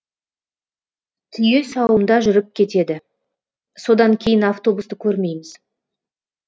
түйе сауымда жүріп кетеді содан кейін автобусты көрмейміз